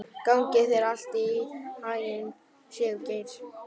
Gangi þér allt í haginn, Sigurgeir.